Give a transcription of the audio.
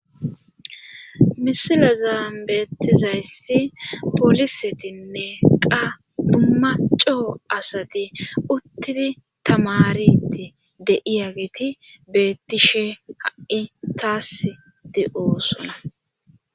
Misila zaambeettizayssi polisetinne qa dumacco asati uttidi tamariti de7iya geti beettishe ha7i taas de7oosona.